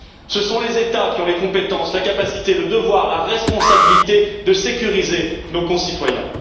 Ce sont les États qui ont les compétences, la capacité, le devoir, la responsabilité de sécuriser nos concitoyens.